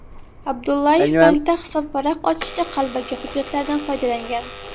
Abdullayev bankda hisobvaraq ochishda qalbaki hujjatlardan foydalangan.